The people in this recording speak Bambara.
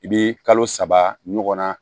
I bɛ kalo saba ɲɔgɔn na